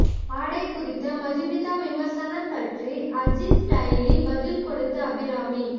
ஆடை குறித்த மதுமிதா விமர்சனம் பற்றி அஜித் ஸ்டைலில் பதில் கொடுத்த அபிராமி